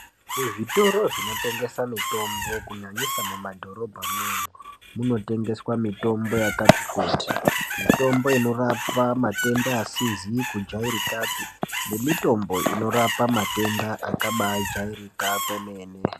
Muzvitoro zvinotengesa mitombo kunyanyisa mumadhorobhamwo munotengeswa mitombo yakati kuti mitombo inorapa matenda asizi kujairikapi nemitombo inorapa matenda akabajairika kwemene.